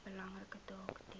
belangrike taak ten